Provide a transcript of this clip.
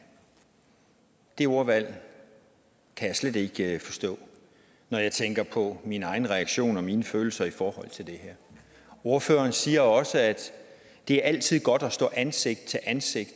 det ordvalg kan jeg slet ikke forstå når jeg tænker på min egen reaktion og mine følelser i forhold til det her ordføreren siger også at det altid er godt at stå ansigt til ansigt